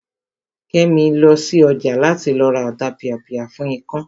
Kẹ́mi lọ sí ọjà láti lọ ra Ọ̀tapìàpìà fún ikán